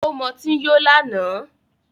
Ó mọtí yó lánàá